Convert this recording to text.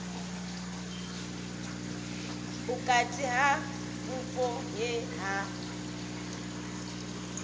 vhukati ha vhupo he ha